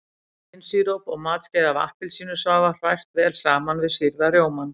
Hlynsíróp og matskeið af appelsínusafa hrært vel saman við sýrða rjómann.